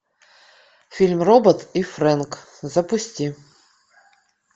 фильм робот и фрэнк запусти